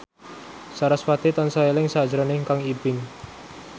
sarasvati tansah eling sakjroning Kang Ibing